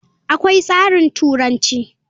Akwai tsarin turanci.